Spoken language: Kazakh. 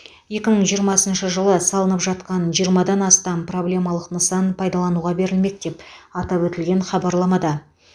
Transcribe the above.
екі мың жиырмасыншы жылы салынып жатқан жиырмадан астам проблемалық нысан пайдалануға берілмек деп атап өтілген хабарламада